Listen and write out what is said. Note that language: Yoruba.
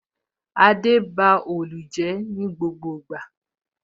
Adé ba òòlù ní gbogbo ìgbà